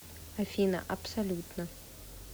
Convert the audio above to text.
афина абсолютно